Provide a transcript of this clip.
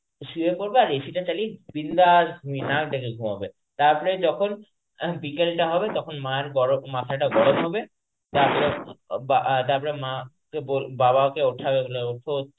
শুয়ে পরবে আর AC টা চালিয়ে বিন্দাস ঘুমিয়ে নাক ডেকে ঘুমাবে. তারপরে যখন বিকেলটা হবে তখন মায়ের গরম মাথাটা গরম হবে তারপরে বা~ তারপরে মা~ কে বল বাবকে ওঠাবে ওঠো